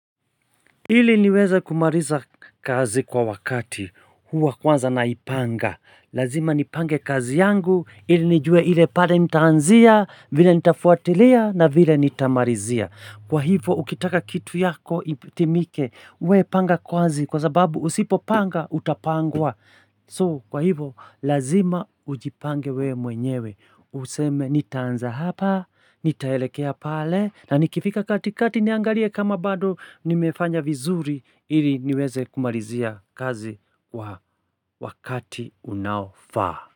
Hili niweze kumariza kazi kwa wakati, huwa kwanza naipanga. Lazima nipange kazi yangu, hili nijue hile pale nitaanzia, vile nitafuatilia na vile nitamarizia. Kwa hivo, ukitaka kitu yako itimike we panga kazi kwa sababu usipopanga, utapangwa. So, kwa hivo, lazima ujipange wewe mwenyewe. Useme nitaanza hapa, nitaelekea pale, na nikifika katikati, niangalie kama bado nimefanya vizuri ili niweze kumarizia kazi kwa wakati unaofaa.